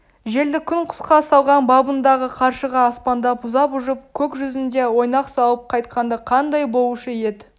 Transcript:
желді күн құсқа салған бабындағы қаршыға аспандап ұзап ұшып көк жүзінде ойнақ салып қайтқанда қандай болушы ед